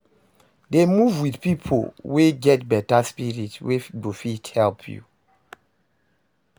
Dey move wit pipo wey get beta spirit wey go fit help you